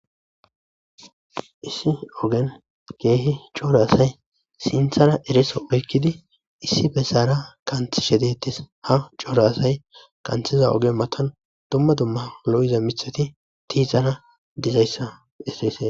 issi ogen ke'hi corra assay sinththara ereso oykiddi issi bessara qanxishshe de'ttees ha corra assay qanththiza oge mattan dumma dumma lo'iza miththati tiixana dizayssa besseee